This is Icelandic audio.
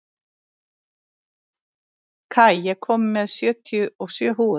Kai, ég kom með sjötíu og sjö húfur!